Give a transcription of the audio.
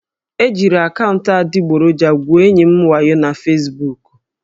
E jiri akaụntụ adịgboroja gwuo enyi m wayo na Fesbuku